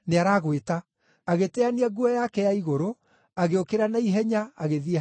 Agĩteania nguo yake ya igũrũ, agĩũkĩra na ihenya agĩthiĩ harĩ Jesũ.